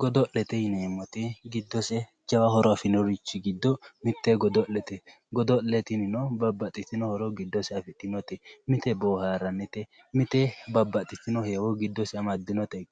godo'lete yineemmoti giddose jawa horo afirinorichi giddo mitte godo'lete godo'le tinino babaxitino giddose afidhinote mite babaxitinno dani heewo giddose amadde